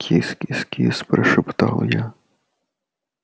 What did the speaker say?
кис-кис-кис прошептал я